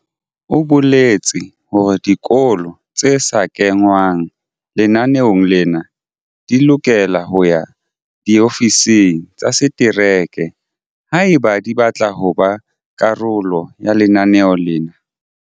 O boletse hore dikolo tse sa kengwang lenaneong lena di lokela ho ya diofising tsa setereke haeba di batla ho ba karolo ya lenaneo lena.